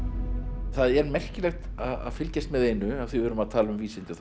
það er merkilegt að fylgjast með einu af því við erum að tala um vísindi það er